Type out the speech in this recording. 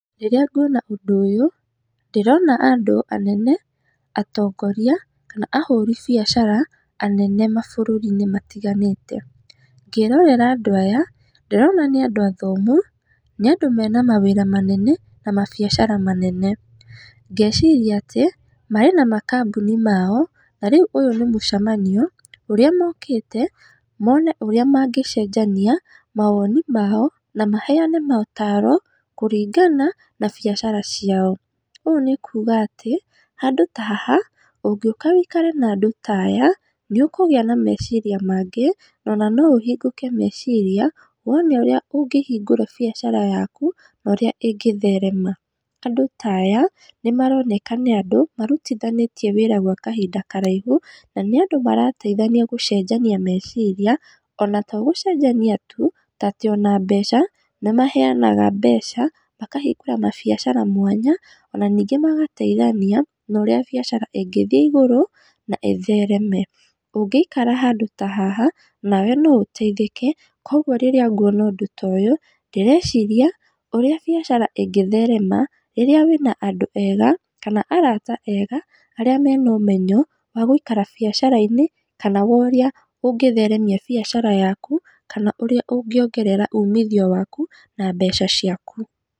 Rĩrĩa nguona ũndũ ũyũ, ndĩrona andũ anene, atongoria, kana ahũri biacara anene mabũrũri-inĩ matiganĩte, ngĩrorera andũ aya ndĩrona nĩ andũ athomu, nĩ andũ mena mawĩra manene, na mabiacara manene, ngeciria atĩ marĩ na makabuni mao, na rĩu ũyũ nĩ mũcemanio ũrĩa mokĩte, mone ũrĩa mangĩcenjania mawoni mao, na maheane motaro kũringana na biacara ciao, ũũ nĩ kuga atĩ, handũ ta haha ũngĩoka wĩikare na andũ taya, nĩ ũkũgĩa na meciria mangĩ, nona no ũhingũke meciria, wone ũrĩa ũngĩhingũra biacara yaku, norĩa ĩngĩtherema, andũ taya nĩ maronekana nĩ andũ marutithanĩtie wĩra gwa kahinda karaihu, na nĩ andũ marateithania gũcenjania meciria, ona togũcenjania tu, tondũ ona mbeca, nĩ maheanaga mbeca makahingũra mabiacara mwanya, ona ningĩ magateithania norĩa biacara ingĩthiĩ igũrũ, na ĩthereme, ũngĩikara handũ ta haha nawe no ũteithĩke, koguo rĩrĩa nguona ũndũ ta ũyũ, ndĩreciria ũrĩa biacara ingĩtherema, rĩrĩa wĩna andũ ega, kana arata ega, arĩa mena ũmenyo, wa gũikara biacara-inĩ, kana worĩa ũngĩtheremia biacara yaku, kana ũrĩa ũngĩongerera umithio waku na mbeca ciaku.